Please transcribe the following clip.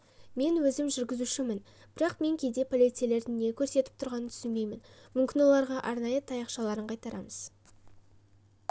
мен өзім жүргізушімін бірақ мен кейде полицейлердің не көрсетіп тұрғанын түсінбеймін мүмкін оларға арнайы таяқшаларын қайтарамыз